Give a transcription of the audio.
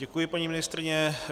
Děkuji, paní ministryně.